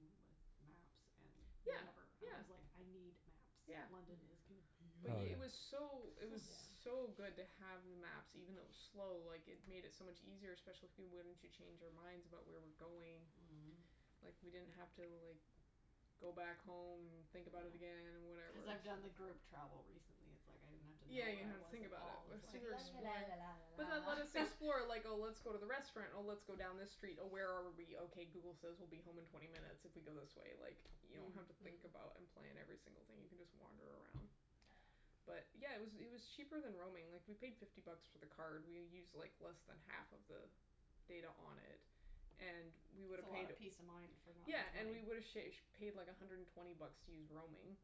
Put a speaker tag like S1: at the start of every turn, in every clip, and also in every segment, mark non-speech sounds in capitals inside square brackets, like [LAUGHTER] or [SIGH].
S1: with maps and
S2: Yeah,
S1: whatever. I
S2: yeah,
S1: was like, I need
S2: yeah.
S1: maps. London is
S2: But
S3: Oh, yeah.
S2: it
S1: confusing.
S2: was
S4: Oh,
S2: so it was
S4: yeah.
S2: so good to have the maps. Even though it was slow, like, it made it so much easier, especially once you change your minds about where we're going.
S1: Mhm.
S2: Like, we didn't have to, like, go back home and think about it again and
S1: Yeah.
S2: whatever.
S1: Cuz I've done the group travel recently. It's like, I didn't have to
S2: Yeah,
S1: know
S2: you
S1: where
S2: don't
S1: I
S2: have to
S1: was
S2: think
S1: at
S2: about
S1: all. I was like la la la la la
S2: it. [INAUDIBLE] But then
S1: la
S2: let us
S1: la [LAUGHS]
S2: explore, like, oh, let's go to the restaurant, or let's go down this street, oh, where are we? Okay Google says we'll be home in twenty minutes if we go this way, like, you don't have to think
S1: Mm.
S2: about and plan every single thing. You can just wander around. But, yeah, it was it was cheaper than roaming. Like, we paid fifty bucks for the card. We used like less than half of the data on it and we would
S1: It's a
S2: have
S1: lot
S2: paid
S1: of peace of mind for not
S2: Yeah,
S1: much
S2: and we
S1: money.
S2: would have sha- paid like a hundred and twenty bucks to use roaming,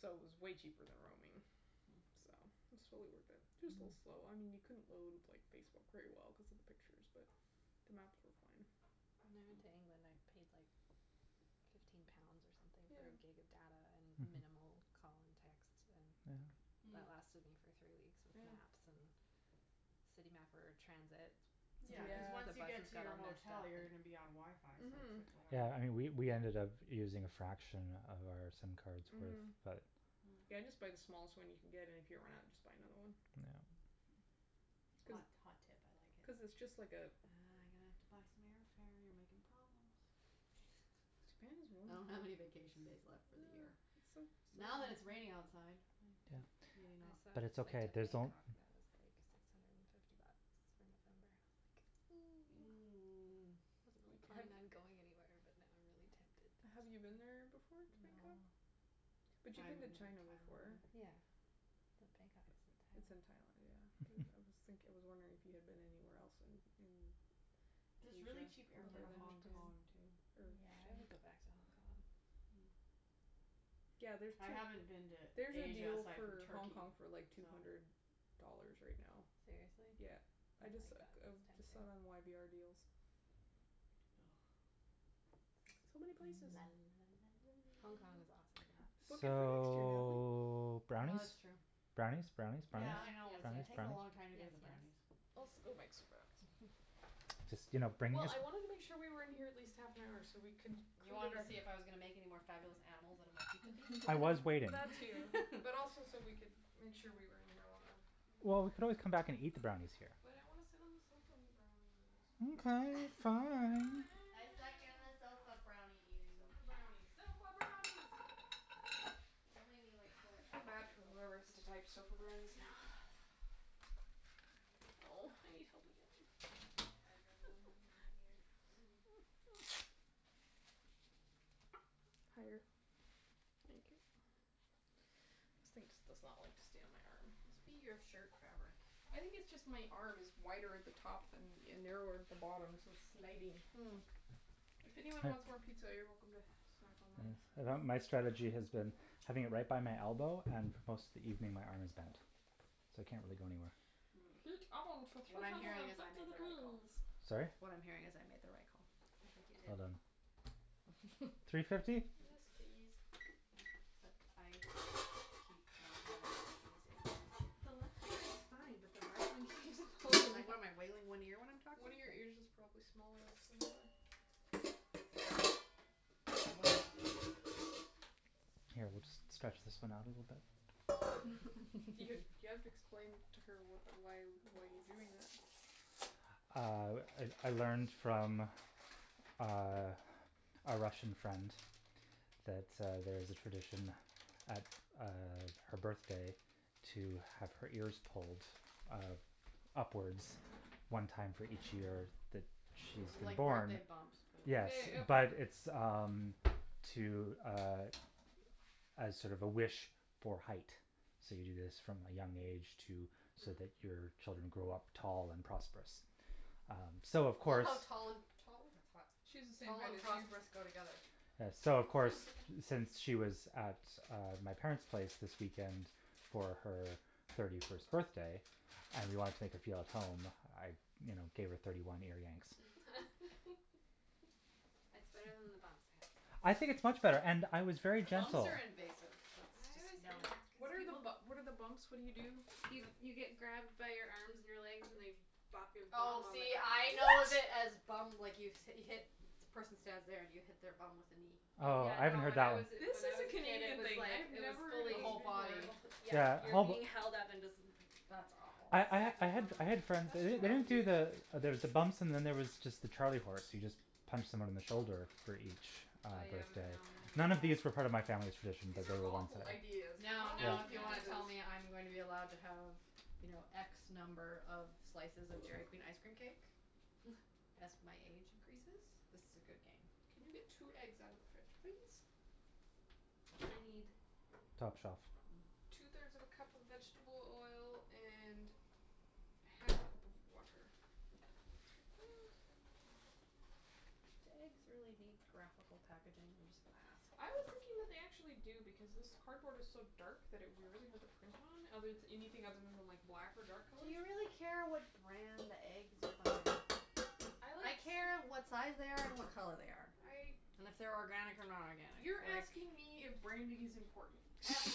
S2: so it was way cheaper than roaming,
S1: Mm.
S2: so it's totally worth it. Just a little slow. I mean, you couldn't load, like, Facebook very well cuz of the pictures, but the maps were fine.
S4: When I went to England, I paid like fifteen pounds or something
S2: Yeah.
S4: for a gig of data and
S3: Mhm.
S4: minimal call and text and
S3: Yeah.
S1: Mm.
S4: that lasted me for three weeks with
S2: Yeah.
S4: maps, and City Mapper, transit.
S1: Yeah, cuz
S4: Sometimes the
S1: once you
S2: Yeah.
S1: get
S4: buses
S1: to
S4: got
S1: your
S4: all messed
S1: hotel
S4: up,
S1: you're gonna
S4: but
S1: be on WiFi, so it's like
S2: Mhm.
S1: whatever.
S3: Yeah, and we we ended up using a fraction of our sim cards with
S2: Mhm.
S3: that.
S1: Mm.
S2: Yeah, just buy the smallest one you can get, and if you run out just buy another one.
S3: Yeah.
S2: Cuz
S1: Hot, hot tip, I like
S2: cuz it's
S1: it.
S2: just like a
S1: Ah, I'm gonna have to buy some airfare. You're making problems.
S2: His parents
S1: I don't have any vacation days left
S2: [INAUDIBLE]
S1: for the year.
S2: It's so
S1: Now that
S2: so
S1: it's raining outside.
S3: Yeah,
S4: [INAUDIBLE] Maybe not. I saw
S3: but
S4: a
S3: it's
S4: flight
S3: okay,
S4: to
S3: there's
S4: Bangkok that was like six hundred and fifty bucks for November and I was like [NOISE]
S1: [NOISE]
S4: I wasn't really planning on going anywhere, but now I'm really tempted.
S2: Have you been there before, to
S4: No.
S2: Bangkok?
S1: I
S2: But you've
S1: haven't
S2: been to
S1: been to Thailand
S2: China before.
S1: either.
S4: Yeah. But Bangkok is
S2: It's
S4: in
S2: in
S4: Thailand.
S2: Thailand, yeah, but I was thinking, I was wondering
S3: [LAUGHS]
S2: if you had been anywhere else in in
S1: There's really
S2: Asia
S1: cheap air fare to Hong Kong, too.
S4: Yeah, I would go back to Hong Kong.
S1: Mm.
S2: [INAUDIBLE] Yeah, there's
S1: I
S2: to
S1: haven't been to
S2: There's a
S1: Asia
S2: deal
S1: aside from
S2: for Hong
S1: Turkey,
S2: Kong for, like, two
S1: so.
S2: hundred dollars right now.
S4: Seriously?
S2: Yeah.
S4: I
S2: I
S4: like
S2: just
S4: it.
S2: I
S4: That's
S2: just saw it
S4: tempting.
S2: on y b r deals.
S1: [NOISE]
S2: So many places.
S1: La la la la la.
S4: Hong Kong is awesome, though.
S2: Book it for next year, Natalie.
S3: So,
S1: Oh, that's
S3: brownies?
S1: true.
S3: Brownies, brownies, brownies,
S1: Yeah, I
S4: Yes,
S1: know. It's
S3: brownies,
S4: yes,
S1: taking a
S3: brownies?
S1: long
S4: yes,
S1: time to get to the
S4: yes.
S1: brownies.
S2: [INAUDIBLE] go make some brownies.
S1: [LAUGHS]
S3: Just, you know, bring
S2: Well,
S3: this.
S2: I wanted to make sure we were in here at least half an hour so we can
S1: You wanted to see if I was gonna make
S2: [INAUDIBLE]
S1: any more fabulous animals out of my pizza piece?
S3: I was waiting.
S2: That too, but also
S4: [LAUGHS]
S2: so
S1: [LAUGHS]
S2: we could make sure we were in here long enough.
S3: Well, we could always come back and eat the brownies here.
S2: But I want to sit on the sofa and eat brownies.
S1: [LAUGHS]
S3: Okay, fine.
S1: I second the sofa brownie eating.
S2: Sofa brownies, sofa brownies!
S1: Just don't make me, like, pull
S2: I
S1: it
S2: feel
S1: out of
S2: bad
S1: the
S2: for
S1: sofa
S2: whoever has
S1: cushion
S2: to
S1: cuz
S2: type
S1: that's
S2: sofa
S1: not what I
S2: brownies
S1: wanna
S2: now.
S1: do.
S4: [LAUGHS] I need to, like,
S2: Oh, I
S4: bobby
S2: need
S4: pin
S2: help
S4: this
S2: again.
S4: microphone to my head rather than having it in my ear.
S1: Mm.
S2: [NOISE] Higher. Thank you. This thing just does not like to stay on my arm.
S1: It must be your shirt fabric.
S2: I think it's just my arm is wider at the top than and narrower at the bottom so it's sliding.
S1: Mm.
S2: If anyone wants more pizza, you're welcome to snack on mine.
S3: [INAUDIBLE] my strategy has been having it right by my elbow and most of the evening my arm is bent, so it can't really go anywhere.
S1: Mm.
S2: Heat oven to three
S1: What I'm
S2: hundred
S1: hearing
S2: and
S1: is I
S2: fifty
S1: made the right call.
S2: degrees.
S3: Sorry?
S1: What I'm hearing is I made the right call.
S4: I think you did.
S3: Well done.
S1: [LAUGHS]
S3: Three
S1: Except
S3: fifty?
S2: Yes, please.
S1: I keep not having using
S4: The left one is fine, but the right one keeps [LAUGHS]
S1: [INAUDIBLE]
S4: falling.
S1: in one ear when I'm talking?
S2: One of your ears is probably smaller [INAUDIBLE]
S1: [INAUDIBLE]
S3: Here, we'll just stretch this one out a little bit.
S4: [LAUGHS]
S1: [LAUGHS]
S2: You you have to explain to her what why why you're doing that.
S3: Uh, I I learned from uh a Russian friend that uh there's a tradition at uh her birthday to have her ears pulled uh upwards one time for each year that she's
S1: Like
S3: born.
S1: birthday bumps but
S3: Yes, but it's, um, to, uh, as sort of a wish for height. So, you do this from a young age to so that your children
S4: Mm.
S3: grow up tall and prosperous. Um so of
S1: I love
S3: course
S1: how tall and tall? That's hot.
S2: She's the same
S1: Tall
S2: height
S1: and
S2: as you.
S1: prosperous go together.
S3: So, of course,
S4: [LAUGHS]
S3: since she was at uh my parents' place this weekend for her thirty first birthday and we wanted to make her feel at home, I you know, gave her thirty one ear yanks.
S4: [LAUGHS] That's better than the bumps, I have to say.
S3: I think it's much better, and I was very
S1: Bumps
S3: gentle.
S1: are invasive. That's
S4: I always
S1: just no.
S4: hated
S2: What
S4: because
S2: are,
S4: people
S2: what are the bumps? What do you do?
S4: You you get grabbed by your arms and your legs and they bop your bum
S1: Oh,
S4: on the
S1: see, I know
S4: ground.
S1: it as
S2: What?
S1: bum, like, you hit, the person stands there and you hit their bum with a knee.
S4: Oh,
S3: Oh,
S4: yeah,
S3: I haven't
S4: no,
S3: heard
S4: when
S3: that
S4: I was
S3: one.
S2: This
S4: when
S2: is
S4: I was
S2: a
S4: a kid it
S2: Canadian
S4: was
S2: thing. I
S4: like,
S2: have
S4: it was
S2: never heard
S1: The
S2: of
S4: fully
S2: this
S1: whole
S2: before.
S1: body.
S4: Oh, yeah,
S3: Yeah
S4: you're being held up and just
S3: [INAUDIBLE]
S1: That's awful.
S3: I I ha- I had I had friends, they don't they don't do the
S4: [INAUDIBLE]
S3: there's the bumps and then there was just the charlie horse; you just punch someone in the shoulder for each uh
S4: Oh, yeah, I
S3: birthday.
S4: remember we would do
S3: None of these
S4: that.
S3: refer to my family's traditions
S2: These are awful
S4: Yeah.
S2: ideas.
S3: [INAUDIBLE]
S1: Now,
S2: Why
S1: now, if
S2: would
S1: you
S2: you do
S1: want to
S2: this?
S1: tell me I'm going to be allowed to have, you know, x number of slices of Dairy Queen ice cream cake
S4: [LAUGHS]
S1: as my age increases, this is a good game.
S2: Can you get two eggs out of the fridge, please? I need
S3: Top shelf.
S2: Two
S1: Hm.
S2: thirds of a cup of vegetable oil and half a cup of water. [INAUDIBLE]
S1: Do eggs really need graphical packaging? I'm just gonna ask.
S2: I was thinking that they actually do because this cardboard is so dark that it would be really hard to print on, other anything other than the like black or dark
S1: Do
S2: colors.
S1: you really care what brand the eggs you're buying? I care what size they
S2: [INAUDIBLE]
S1: are and what color they are. And
S2: I.
S1: if they're organic or not organic.
S2: You're asking me if branding is important? Natalie.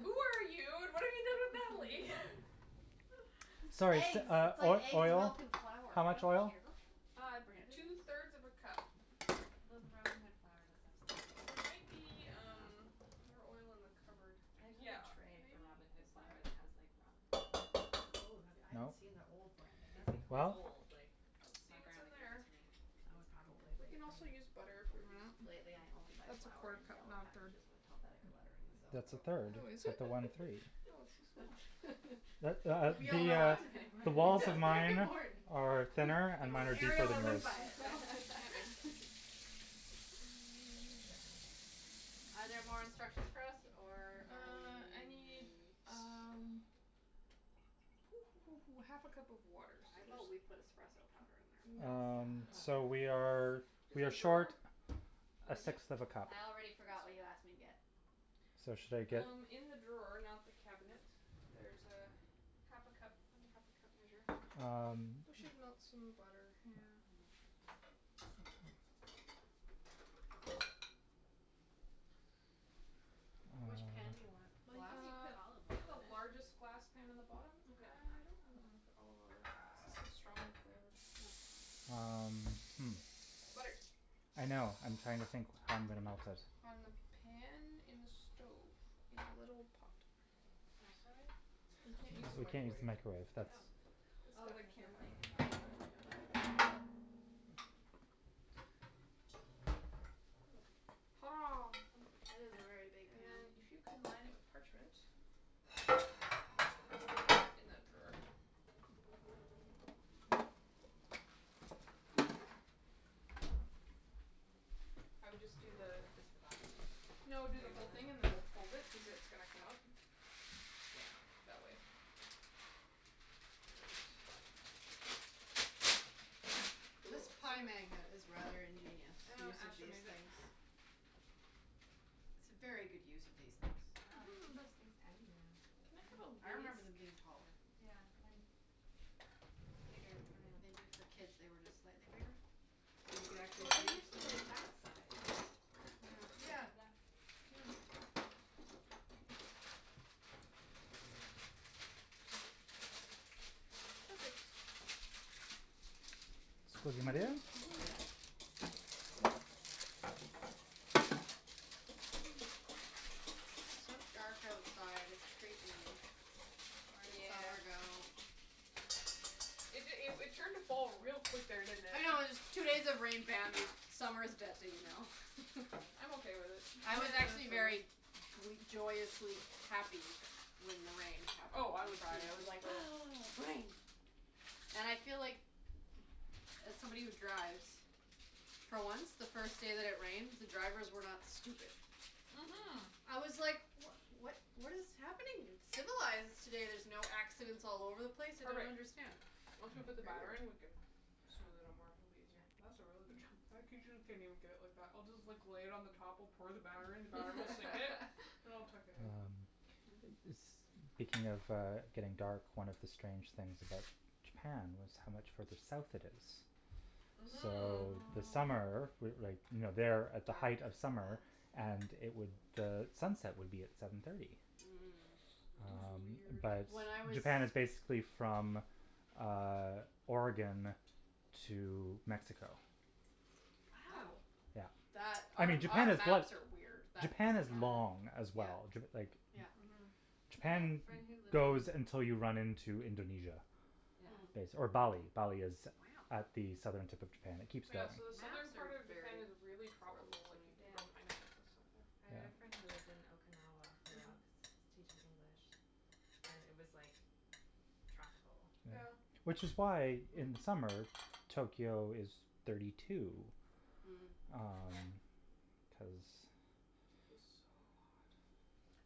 S2: Who are you and what have you done with Natalie?
S3: Sorry,
S2: [LAUGHS]
S1: Eggs;
S3: uh,
S1: it's like
S3: uh,
S1: eggs,
S3: oil,
S1: milk and flour.
S3: how
S1: I don't
S3: much oil?
S1: care what brand
S2: [INAUDIBLE]
S1: it
S2: two
S1: is.
S2: thirds of a cup.
S4: Though the Robin Hood flour does have
S2: There
S4: some [INAUDIBLE]
S2: might be, um, more oil in
S1: Yeah.
S2: the cupboard.
S4: I have like
S2: Yeah,
S4: a tray from
S2: maybe.
S4: Robin
S2: Is
S4: Hood [INAUDIBLE] that
S2: there?
S4: it has like Robin Hood.
S1: Oh, that would, I haven't
S3: No.
S1: seen the old branding.
S4: It's ,
S1: That'd
S4: like,
S1: be
S3: Well?
S1: cool.
S4: old, like,
S2: Let's see
S4: my
S2: what's in
S4: grandma gave it
S2: there.
S4: to me.
S1: Oh
S4: It's probably
S1: it's
S4: like
S2: We can
S1: probably
S4: from
S2: also
S4: the
S2: use
S1: [INAUDIBLE]
S2: butter if we
S4: forties
S2: run
S4: or
S2: out.
S1: Lately
S4: something.
S1: I only buy
S2: That's a
S1: flour
S2: quarter
S1: in
S2: cup,
S1: yellow
S2: not a third.
S1: packages with Helvetica lettering, so.
S3: That's a third.
S2: Oh,
S3: It's
S2: is it?
S3: got the one three.
S2: Oh, it's so small.
S1: [LAUGHS] We all
S3: The,
S1: know what
S3: uh,
S1: I'm saying.
S3: the walls of
S1: That's very
S3: mine
S1: important.
S3: are thinner,
S1: If it
S3: and mine
S1: was
S3: are deeper
S1: Arial, I
S3: than
S1: wouldn't
S3: yours.
S1: buy it [LAUGHS]
S4: [LAUGHS]
S1: [NOISE] Are there more instructions for us, or are
S2: Uh, I need,
S1: we?
S2: um [NOISE] half a cup of water, so
S1: How
S2: there's.
S1: about we put espresso powder in there?
S2: No,
S3: Um,
S2: no.
S3: so we are
S4: [NOISE] Yes.
S3: we are
S2: [INAUDIBLE]
S3: short
S2: drawer?
S3: a
S1: What'd you?
S3: sixth of a cup.
S1: I already forgot what you asked me to get.
S3: So, should I get?
S2: Um, in the drawer, not the cabinet there's half a cup. Find a half a cup measure.
S3: Um.
S2: We should melt some butter, yeah.
S1: [NOISE] Which pan do you
S3: Uh
S1: want?
S4: Well, you
S1: Glass?
S4: can
S2: Uh,
S4: put olive
S2: get the
S4: oil in it.
S2: largest glass pan in the bottom. I don't want
S1: Okay.
S2: to put olive oil cuz it's so strong flavored.
S4: Oh.
S3: Um, hm.
S2: Butter.
S3: I know, I'm trying to think how I'm going to melt it.
S2: On the pan, in the stove, in a little pot.
S4: Microwave?
S2: We can't use the
S3: [INAUDIBLE] we can't use
S2: microwave.
S3: the microwave, that's
S4: Oh.
S2: It's
S4: Oh,
S2: got a
S4: cuz the
S2: camera
S4: thing is
S2: on it,
S4: on it.
S2: yeah. Hurrah.
S1: It is a very big
S2: And
S1: pan.
S2: then if you can line it with parchment.
S4: Where's
S2: There is
S4: the
S2: parchment in
S4: parchment?
S2: that drawer. I would just do the
S4: Just the bottom?
S2: No, do the whole thing and then we'll fold it cuz it's gonna come up. Yeah, that way. Yes.
S1: This
S2: Cool.
S1: pie magnet is rather ingenious, [INAUDIBLE]
S2: Uh [INAUDIBLE] made it.
S1: things. It's a very good use of these things.
S4: Wow, they make
S2: Mhm.
S4: those things tiny now.
S2: Can I
S1: I
S2: have
S1: remember them
S2: a
S1: being
S2: whisk?
S1: taller.
S4: Yeah, and bigger around.
S1: Maybe for kids they were just slightly bigger? You could actually
S4: Well, they're
S1: breathe through
S4: usually,
S1: the
S4: like,
S1: middle.
S4: that size.
S1: Yeah, yeah, yeah.
S2: Perfect.
S3: [INAUDIBLE] my dear.
S1: It's so dark outside, it's creepy. Where did summer
S4: Yeah.
S1: go?
S2: It it it turned to fall real quick there, didn't it?
S1: I know, it's two days of rain, bam, summer's dead to me now.
S2: I'm okay with it
S1: [LAUGHS] I was actually very
S2: [INAUDIBLE]
S1: gr- joyously happy when the rain happened
S2: Oh, I
S1: on
S2: was, too,
S1: Friday. I
S2: I
S1: was
S2: was
S1: like,
S2: thrilled.
S1: "Ah, rain." And I feel like, as somebody who drives, for once, the first day that it rained, the drivers were not stupid.
S2: Mhm.
S1: I was like, what what what is happening? It's civilized today, there's no accidents all over the place, I don't
S2: Perfect.
S1: understand.
S2: Once we put the batter
S1: Weird.
S2: in, we can smooth it out more; it'll be easier. That's a really good job. I [INAUDIBLE] get it like that. I'll just like lay it on the top or pour the batter in, the batter will sink it and
S4: [LAUGHS]
S2: I'll tuck it in.
S3: Um, is speaking of uh getting dark, one of the strange things about Japan was how much further south it is.
S2: Mhm.
S3: So the summer,
S1: [NOISE]
S3: with like, you know
S1: Dark.
S3: they're at the height of summer and it would, sunset would be at seven thirty.
S1: [INAUDIBLE] Mm.
S2: It was
S3: Um,
S2: weird.
S3: but
S1: When I was
S3: Japan is basically from um Oregon to Mexico.
S1: Wow.
S3: Yeah.
S1: That
S3: I
S1: our
S3: mean, Japan
S1: our
S3: is
S1: maps are weird. [INAUDIBLE]
S3: Japan is long as
S1: Yeah,
S3: well. Like
S1: yeah.
S2: Mhm.
S3: Japan goes until you run into Indonesia
S1: Mm.
S3: base or
S1: Wow.
S3: Bali. Bali is at the southern tip of Japan. It keeps
S2: Yeah, so the southern
S1: Maps are
S2: part of
S1: very
S2: Japan is really
S3: [INAUDIBLE]
S1: poorly
S2: tropical, like, you
S1: designed.
S2: can grow
S4: Yeah.
S2: pineapples and stuff there.
S4: I had a friend who lived
S3: Yeah.
S4: in Okinawa for a
S2: Mhm.
S4: while cuz he was teaching English and it was like tropical.
S3: Yeah.
S2: Yeah.
S3: Which is why in
S1: Hm.
S3: summer, Tokyo is thirty two,
S1: Mm.
S3: um, cuz
S2: It was so hot.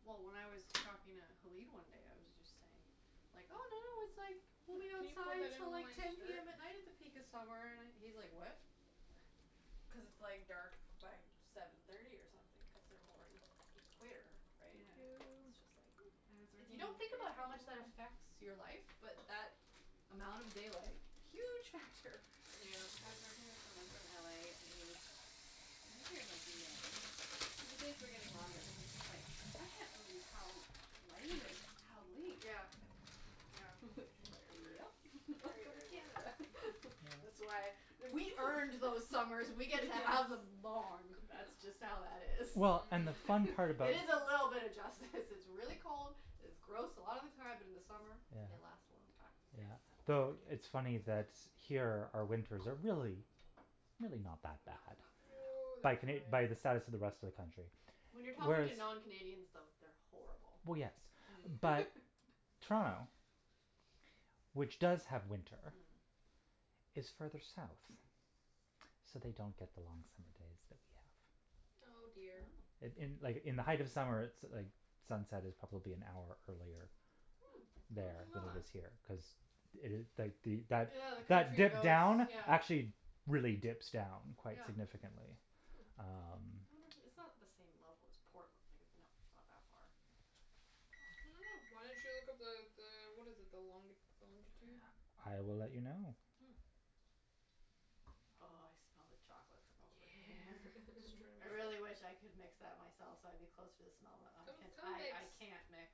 S1: Well, when I was talking to Halib one day, I was just saying, like, oh, no, no, it's like we'll be outside till like ten PM at night at the peak of summer, and he's like, what? Cuz it's like dark by seven thirty or something cuz they're more e- equator, right?
S4: Yeah.
S1: It's
S2: Thank
S1: just like [NOISE]
S4: I was
S1: If you
S4: working in
S1: don't
S2: you.
S1: think about how much that affects
S2: [INAUDIBLE]
S1: your life but that amount of daylight, huge factor.
S4: I
S2: Yeah.
S4: was working with someone from LA and he was, he was here in, like, May, but the days were getting longer and he was just like, I can't believe how light it is how late.
S1: Yeah, yeah.
S4: [LAUGHS]
S1: Very weird.
S4: Yep, [LAUGHS]
S1: Very,
S4: welcome
S1: very
S4: to
S1: weird.
S4: Canada. [LAUGHS]
S1: That's why we earned those summers. We get to have them long, that's just how that is.
S3: Well, and the
S2: Mm.
S3: fun
S1: [LAUGHS]
S3: part about
S1: It is a little bit of justice. This is really cold, it's gross a lotta time, but in the summer
S3: Yeah.
S1: they last a long time.
S3: Yeah.
S4: Yes.
S3: The it's funny that here our winters are really, really not that
S1: No,
S3: bad.
S1: not that bad.
S2: No,
S4: No.
S3: By Cana-
S2: they're ,
S3: by the
S2: fine.
S3: status of the rest of the country,
S1: When you're talking
S3: whereas
S1: to non Canadians, though, they're horrible.
S3: Well, yes,
S4: Mm.
S3: but
S1: [LAUGHS]
S3: Toronto, which does have winter,
S1: Mm.
S3: is further south, so they don't get the long summer days that we have.
S2: Oh, dear.
S3: In
S1: Wow.
S3: in like, in the height of summer, so like the sunset is probably an hour earlier
S1: Hm, I
S3: there
S1: didn't
S3: than
S1: know
S3: it
S1: that.
S3: is here.
S4: Hm.
S3: Cuz
S1: Yeah, the country
S3: [INAUDIBLE]
S1: goes,
S3: down,
S1: yeah.
S3: actually really dips down quite
S1: Yeah.
S3: significantly, um.
S1: I
S4: Hm.
S1: wonder if it, it's not the same level as Portland. Like it not [INAUDIBLE]
S2: I don't know. Why don't you look up the the, what is it, the long- the longitude?
S3: I will let you know.
S1: Hm. Oh, I smell the chocolate from over
S2: Yeah,
S1: here.
S2: just trying to make
S1: I
S2: sure.
S1: really wish I
S4: [LAUGHS]
S1: could mix that myself so I'd be closer to smell that.
S2: Come, come
S1: I
S2: mix.
S1: I can't mix.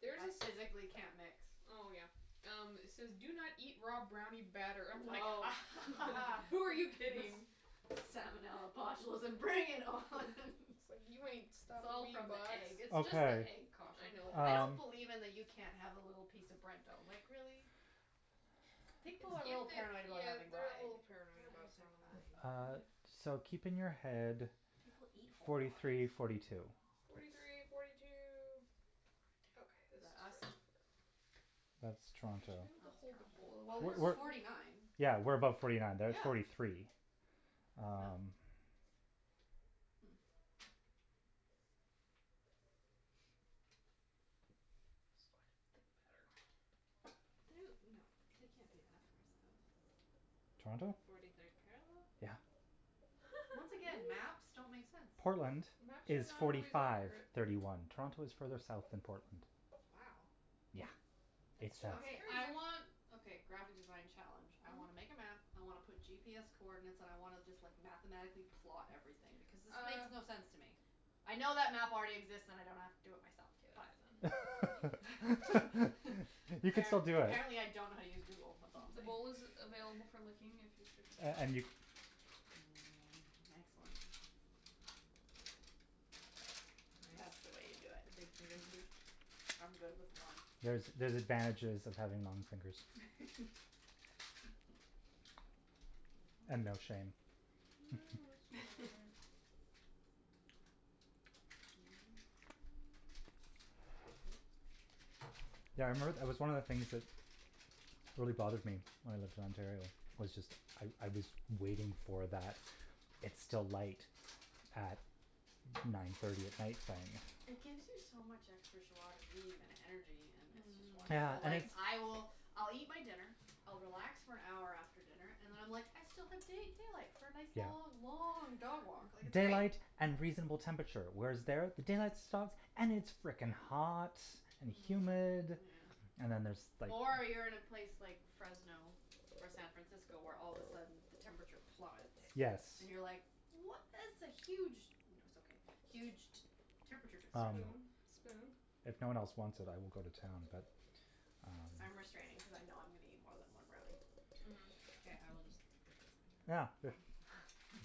S2: There's
S1: I
S2: this.
S1: physically can't mix.
S2: Oh, yeah. Um, it says do not eat raw brownie batter. I'm like a
S1: Oh.
S2: ha ha ha, who are you
S4: [LAUGHS]
S2: kidding?
S1: Salmonella, botulism, bring it on
S2: It's
S1: [LAUGHS]
S2: like, you ain't
S1: It's
S2: stopping
S1: all
S2: me,
S1: from the
S2: box.
S1: egg. It's just the
S3: Okay.
S1: egg caution.
S2: I know.
S1: I don't
S3: Um
S1: believe in the you can't have a little piece of bread dough. Like, really? People are a
S2: If
S1: little
S2: they,
S1: paranoid about
S2: yeah,
S1: having raw
S2: they're a
S1: egg.
S2: little paranoid
S4: Raw
S2: about
S4: eggs are
S2: salmonella.
S4: fine.
S3: Uh, so keep in your head
S1: People eat whole
S3: forty
S1: raw
S3: three,
S1: eggs.
S3: forty two.
S2: Forty three, forty two.
S1: Forty two.
S2: Okay,
S1: Is
S2: this is
S1: that us?
S2: ready for it.
S3: That's
S1: Oh,
S2: Would you be
S3: Toronto.
S2: able to
S1: it's
S2: hold the bowl
S1: Toronto. Well, we're forty nine.
S2: [INAUDIBLE]
S3: Yeah, we're above forty nine. They're at forty
S1: Yeah.
S3: three.
S1: No.
S3: Um.
S1: Hm.
S2: This is quite a thick batter.
S4: They, no, they can't be that far south.
S3: Toronto?
S4: Forty third parallel?
S3: Yeah.
S1: Once again, maps don't
S4: Really?
S1: make sense.
S3: Portland
S2: Maps are
S3: is
S2: not
S3: forty
S2: always
S3: five,
S2: accurate.
S3: thirty one. Toronto is further south than Portland.
S4: Wow.
S3: Yeah.
S4: That's
S2: That's
S3: It's south.
S1: Okay.
S4: fascinating.
S1: I
S2: that's
S1: want,
S2: [INAUDIBLE]
S1: okay, graphic design challenge. I
S2: Mhm.
S1: wanna make a map, I wanna put GPS coordinates and I wanna just, like, mathematically plot everything because this makes
S2: Uh.
S1: no sense to me. I know that map already exists and I don't have to do it
S2: Get out
S1: for
S2: then.
S1: myself,
S3: [LAUGHS]
S1: but [LAUGHS]
S3: You can
S1: App-
S3: still do it.
S1: apparently I don't know how to use Google, that's all I'm
S2: The
S1: saying.
S2: bowl is available for licking if you should.
S3: And and you
S1: Mm, excellent. That's the way you do it.
S4: Nice, the
S1: Mhm.
S4: big [INAUDIBLE]
S1: I'm good with one.
S3: There's, there's advantages of having long fingers.
S1: [LAUGHS]
S3: And no shame. [LAUGHS]
S2: I've no
S1: Mhm. [LAUGHS]
S2: shame.
S1: Mhm. [NOISE]
S3: Yeah, I remember, it was one of the things that really bothered me when I lived in Ontario was just I I was waiting for that it's still light at nine thirty at night thing.
S1: It gives you so much extra jois de vivre and energy and it's just
S3: Yeah,
S2: Mm.
S1: wonderful.
S3: I
S1: Like, I will, I'll eat my dinner, I'll relax for an hour after dinner and then I'm like, I still have da- daylight for a nice
S3: Yeah.
S1: long, long dog walk, like, it's
S3: Daylight
S1: night.
S3: and reasonable temperature. Whereas there, the daylight stops and it's frickin'
S1: Yeah.
S3: hot and humid
S4: Mm.
S2: Yeah.
S3: and then there's, like.
S1: Or you're in a place like Fresno or San Francisco, where all of a sudden the temperature plummets.
S3: Yes.
S1: And you're, like, what is the huge No, it's okay. Huge t- temperature
S3: Um,
S1: differential.
S2: Spoon, spoon?
S3: if no one else wants it, I will go to town, but um
S1: I'm restraining cuz I know I'm gonna eat more than one brownie.
S2: Mhm.
S4: Okay, I will just lick the
S3: Yeah,
S4: spoon.
S3: good.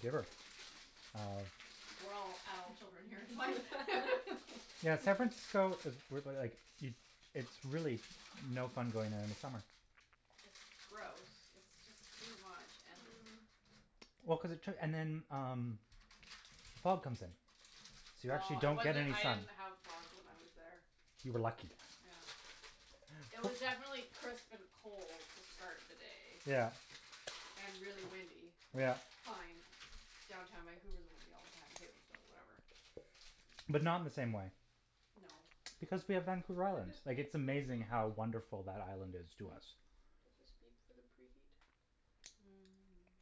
S3: Giver. Uh.
S1: We're all adult children here, like [LAUGHS]
S3: Yeah, San Francisco is like, it it's really no fun going there in the summer.
S1: It's gross. It's just too much, and
S2: Mm.
S3: Well, cuz it took, and then, um, the fog comes in, so you actually
S1: Oh, it
S3: don't get
S1: wasn't,
S3: any
S1: it
S3: sun.
S1: didn't have fog when I was there.
S3: You were lucky.
S1: Yeah. It was definitely crisp and cold to start the day.
S3: Yeah.
S1: And really windy, which
S3: Yeah.
S1: fine. Downtown Vancouver is windy all the time, too, so whatever.
S3: But not in the same way.
S1: No.
S3: Because we have Vancouver
S2: Do
S3: Island.
S2: these
S3: Like,
S2: beep
S3: it's
S2: for the
S3: amazing
S2: preheat?
S3: how wonderful that island is to
S1: Hm?
S3: us.
S2: Do these beep for the preheat?
S1: Mm.